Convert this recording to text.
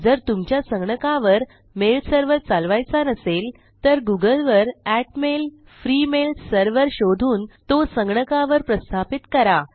जर तुमच्या संगणकावर मेल serverचालवायचा नसेल तर गुगलवर आत्मैल फ्री मेल सर्व्हर शोधून तो संगणकावर प्रस्थापित करा